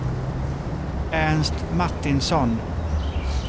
Ernst Martinsson